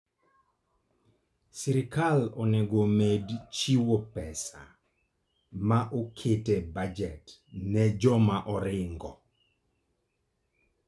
Sirkal onego omed chiwo pesa ma oket e bajet ne joma oringo.